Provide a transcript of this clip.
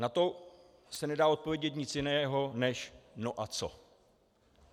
Na to se nedá odpovědět nic jiného než no a co.